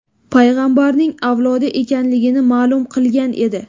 payg‘ambarning avlodi ekanligini ma’lum qilgan edi .